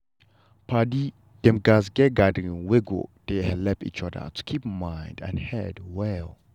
padi dem gatz get gathering wet go dey helep each other to keep mind and head well.